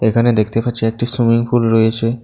এখানে দেখতে পাচ্ছি একটি সুইমিং পুল রয়েছে।